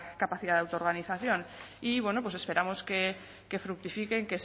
capacidad de autoorganización y bueno pues esperamos que fructifiquen